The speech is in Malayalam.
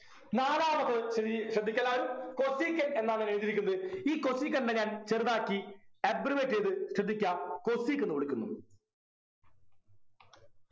നാലാമത് ഇനി ശ്രദ്ധിക്കെല്ലാരും cosecant എന്നാണ് എഴുതിയിരിക്കുന്നത് ഈ cosecant നെ ഞാൻ ചെറുതാക്കി abbreviate ചെയ്ത ശ്രദ്ധിക്കാ cosec എന്ന് വിളിക്കുന്നു